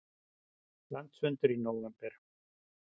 Landsfundur í nóvember